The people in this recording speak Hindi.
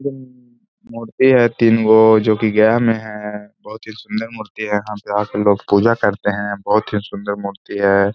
अम मूर्ति हैं तीन को जो कि गेम है। बहोत ही सुन्दर मूर्ति हैं। यहाँ पे लोग पूजा करते हैं। बहोत ही सुन्दर मूर्ति है।